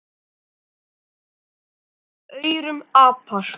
Mörg verða af aurum apar.